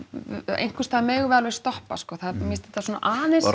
einhversstaðar megum við alveg stoppa sko mér finnst þetta svona aðeins